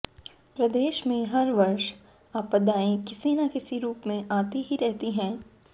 प्रदेश में हर वर्ष आपदाएं किसी न किसी रूप में आती ही रहती हैं